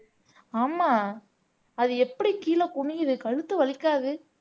ஆமா அது எப்படி கீழே குனியுது கழுத்து வலிக்காது